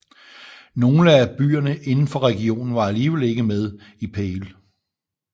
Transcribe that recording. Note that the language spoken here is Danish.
Nogle af byerne indenfor regionen var alligevel ikke med i Pale